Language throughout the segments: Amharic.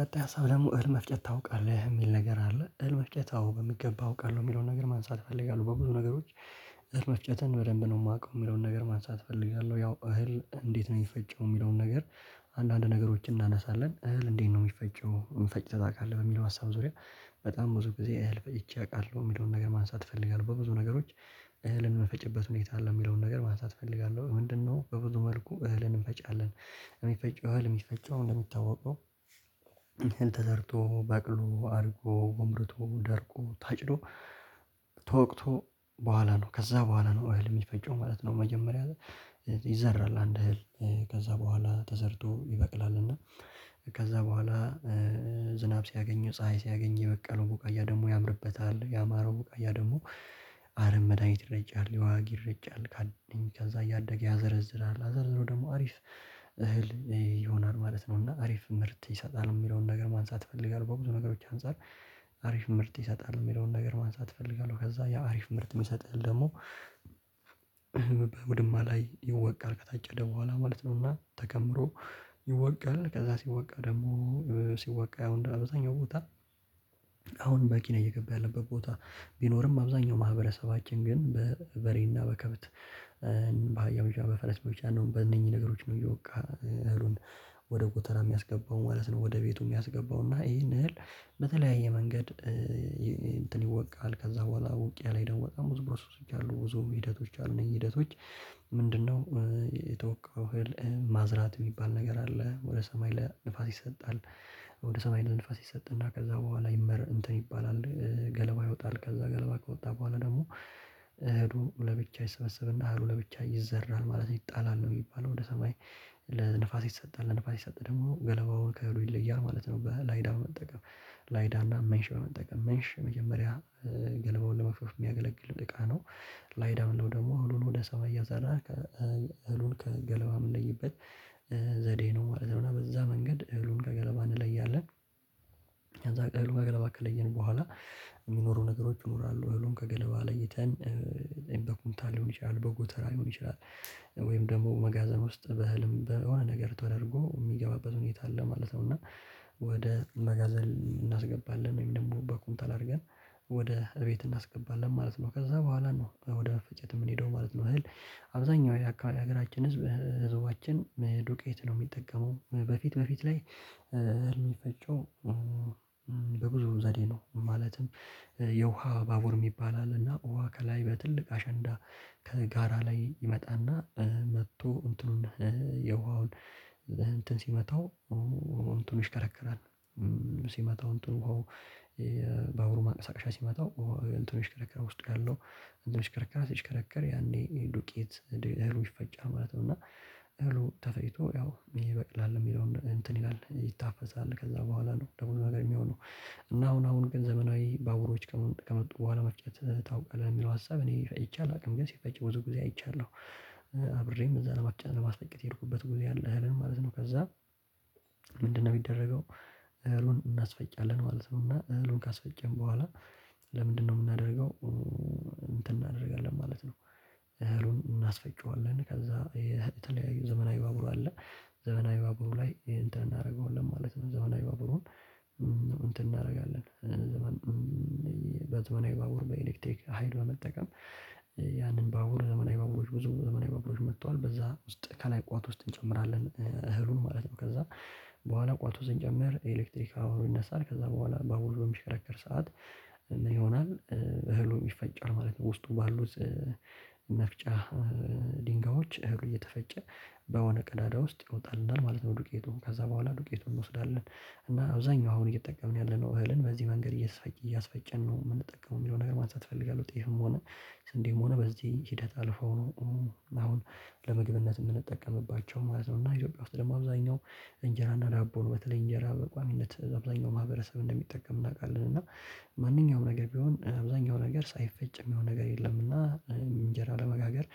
ቀጣይ ሀሳብ ደግሞ እህል መፍጨት ታውቃለህ የሚል ነገር አለ እህል መፍጨት አዎ በሚገባ አውቃለሁ የሚለውን ነገር ማንሳት እፈልጋለሁ በብዙ ነገሮች እህል መፍጨትን በደንብ ነው የማውቀው የሚለውን ነገር ማንሳት እፈልጋለሁ ያው እህል እንዴት ነው የሚፈጨው የሚለውን ነገር አንዳንድ ነገሮችን እናነሳለን እህል እንዴት ነው የሚፈጨው ፈጭተህ ታውቃለህ ወይ በሚለው ሀሳብ ዙሪያ በጣም ብዙ ጊዜ እህል ፈጭቼ አውቃለሁ የሚለውን ነገር ማንሳት እፈልጋለሁ በብዙ ነገሮች እህልን ምንፈጭበት ሁኔታ አለ የሚለውን ነገር ማንሳት እፈልጋለሁ ምንድነው በብዙ መልኩ እህልን እንፈጫለን እህል የሚፈጨው እንደሚታወቀው ተዘርቶ በቅሎ አድጎ ጎምርቶ ደርቆ ታጭዶ ተወቅቶ ከዛ በኋላ ነው እህል የሚፈጨው ማለት ነው መጀመሪያ ላይ ይዘራል አንድ እህል ከዛ በኋላ ተዘርቶ ይበቅላል እና ከዛ በኋላ ዝናብ ሲያገኘው ፀሀይ ሲያገኙ የበቀለው ቡቃያ ደግሞ ያምርበታል ያማረው ቡቃያ ደግሞ አረም መድሃኒት ይረጫል የዋግ ይረጫል ከዛ እያደገ ያዘረዝራል አዘረዝሮ ደግሞ አሪፍ እህል ይሆናል ማለት ነው እና አሪፍ ምርት ይሰጣል የሚለውን ነገር ማንሳት እፈልጋለሁ በብዙ ነገሮች አንፃር አሪፍ ምርት ይሰጣል የሚለውን ነገር ማንሳት እፈልጋለሁ ከዛ ያ አሪፍ ምርት የሚሰጥህን ደግሞ በውድማ ላይ ይወቃል ከታጨደ በኋላ ማለት ነው እና ተከምሮ ይወቃል ከዛ ሲወቃ ደግሞ ሲወቃ ያው እንደ አብዛኛው ቦታ አሁን በቂ ነው እየገባ ያለበት ቦታ ቢኖርም አብዛኛው ማህበረሰባችን ግን በበሬና በከበት በአህያ ብቻ በፈረስ ብቻ ነው በእነኚህ ነገሮች ነው እየወቃ እህሉን ወደ ጎተራ የሚያስገባው ማለት ነው ወደቤቱ ሚያስገባው እና ይሄን እህል በተለያየ መንገድ እንትን ይወቃል ከዛ በኅላ ውቂያ ላይ ደግሞ በጣም ብዙ ኘሮሰሶች አሉ ብዙ ሂደቶች አ ሉ እነዚህ ሂደቶች ምንድነው የተወቃው እህል ማዝራት የሚባል ነገር አለ ወደ ሰማይ ለንፋስ ይሰጣል ወደ ሰማይ ለንፋስ ይሰጥና ከዛ በኋላ እንትን ይባላል ገለባ ይወጣል ከዛ ገለባ ከወጣ በኋላ ደግሞ እህሉ ለብቻ ይሰበሰብና እህሉ ለብቻ ይዘራል ማለት ይጣላል ነው የሚባለው ወደ ሰማይ ለንፋስ ይሰጣል ለንፋስ ሲሰጥ ደግሞ ገለባው ከእህሉ ይለያል ማለት ነው በላይዳ በመጠቀም ላይዳ እና ሜንሽ በመጠቀም ሜንሽ መጀመሪያ ገለባውን ለመግፍ የሚያገለግል እቃ ነው ላይዳ ምንለው ደግሞ እህሉን ወደ ሰማይ እያዘራ እህሉን ከገለባ የምንለይበት ዘዴ ነው ማለት ነው እና በዛ መንገድ እህሉን ከገለባ እንለያለን ከዛ እህሉን ከገለባ ከለየን በኋላ የሚኖሩ ነገሮች ይኖራሉ እውነቱን ከገለባ ለይተን በኩንታል ሊሆን ይችላል በጎተራ ሊሆን ይችላል ወይም ደግሞ መጋዘን ውስጥ በህልም በሆነ ነገር ተደርጎ የሚገባበት ሁኔታ አለ ማለት ነው እና ወደ መጋዘን እናስገባለን ወይም ደግሞ በኩንታል አድርገን ወደ እቤት እናስገባለን ማለት ነው ከዛ በኋላ ነው ወደ መፈጨት የምንሄደው ማለት ነው እህል አብዛኛው የሀገራችን ህዝብ ህዝባችን ዱቄት ነው የሚጠቀመው በፊት በፊት ላይ እህል የሚፈጨው በብዙ ዘዴ ነው ማለትም የውሃ ባቡር የሚባል አለና ውሃ ከላይ በትልቅ አሸንዳ ከጋራ ላይ ይመጣና መጥቶ እንትኑን የውሃውን እንትን ሲመታው እንትኑ ይሽከረከራል ሲመጣው እንትኑ ውሃው በእግሩ ማንቀሳቀሻ ሲመታው እንትኑ ይሽከረከራል ውስጥ ያለው እንትን ይሽከረከራል ሲሽከረከር ያኔ ዱቄት እህሉ ይፈጫል ማለት ነው እና እህሉ ተፈጭቶ ያው ይበቅላል የሚለውን እንትን ይላል ይታፈሳል ከዛ በኋላ ነው ለብዙ ነገር የሚሆነው እና አሁን አሁን ግን ዘመናዊ ባቡሮች ከመጡ በኋላ መፍጨት ታውቃለህ የሚለው ሀሳብ እኔ ፈጥቼ አላውቅም ግን ሲፈጭ ብዙ ጊዜ አይቻለሁ። አብሬም እዛ ለማስፈጨት የሄድኩበት ጊዜ አለ እህሉን ማለት ነው ከዛ ምንድነው የሚደረገው እህሉን እናስፈጫለን ማለት ነው እና እህሉን ካስፈጨን በኋላ ለምንድነው የምናደርገው እንትን እናደርጋለን ማለት ነው እህሉን እናስፈጭዋለን ከዛ የተለያዩ ዘመናዊ ባቡር አለ ዘመናዊ ባቡር ላይ እንትን እናደርገዋለን ማለት ነው ዘመናዊ ባቡሩን እንትን እናደርጋለን ዘመን በትወና የባቡር በኤሌክቴክ ሀይል በመጠቀም ያንን ባቡር ብዙ ዘመናዊ ባቡሎች መጥቷል በዛ ውስጥ ከላይ ቋት ውስጥ እንጨምራለን እህሉን ማለት ነው ከዛ በኋላ ቋት ውስጥ ስንጨምር ኤሌክትሪክ አብሮ ይነሳል ከዛ በኋላ ባቡሩ በሚሽከረከር ሰዓት ይሆናል እህሉ ይፈጫል ማለት ነው ውስጡ ባሉት መፍጫ ድንጋዮች እህሉ እየተፈጨ በሆነ ቀዳዳ ውስጥ ይወጣልናል ማለት ነው ዱቄቱን ከዛ በኋላ ዱቄቱን እንወስዳለን እና አብዛኛው አሁን እየተጠቀምን ያለነው እህልን በዚህ መንገድ እየሰፈጨን ነው የምንጠቀመው የሚለው ነገር ማንሳት እፈልጋለሁ ጤፍም ሆነ ስንዴም ሆነ በዚህ ሂደት አልፈው ነው አሁን ለምግብነት የምንጠቀምባቸው ማለት ነው እና ኢትዮጵያ ውስጥ ደግሞ አብዛኛው እንጀራና ዳቦን በተለይ እንጀራ በቋሚነት አብዛኛው ማህበረሰብ እንደሚጠቀም እናውቃለን እና ማንኛውም ነገር ቢሆን አብዛኛው ነገር ሳይፈጭ የሚሆን ነገር የለምና እንጀራ ለመጋገር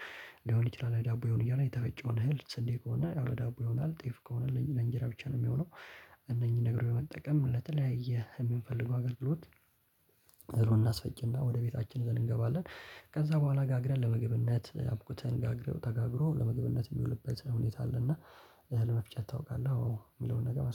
ሊሆን ይችላል ዳቦ ይሆን የሆነ የተፈጨውን እህል ስንዴ ከሆነ ዳቦ ይሆናል ጤፍ ከሆነ ለእንጀራ ብቻ ነው የሚሆነው። እነኚህን ነገሮች መጠቀም ለተለያየ የምንፈልገው አገልግሎት እህሉን እናስፈጭና ወደ ቤታችን ይዘን እንገባለን ከዛ በኋላ ጋግረን ለምግብነት አብኩተን ተጋግሮ ለመግብነት የሚውልበት ሁኔታ አለና ለመፍጨት ታውቃለህ አዎ የሚለውን ነገር ማንሳት